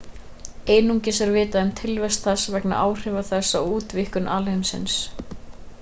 einungis er vitað um tilvist þess vegna áhrifa þess á útvíkkun alheimsins